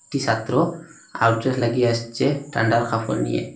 একটি সাত্র half jacket লাগিয়ে আসছে ঠান্ডা কাপড় নিয়ে।